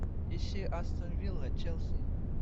ищи астон вилла челси